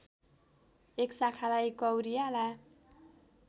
एक शाखालाई कौरियाला